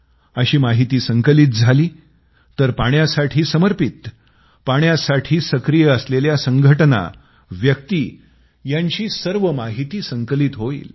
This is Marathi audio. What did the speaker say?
अशी माहिती संकलित झाली तर पाण्यासाठी समर्पित पाण्यासाठी सक्रिय असलेल्या संघटना व्यक्ती यांची सर्व माहिती संकलित होईल